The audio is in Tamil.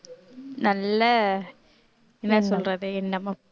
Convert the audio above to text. நல்ல என்ன சொல்றது என்னமோ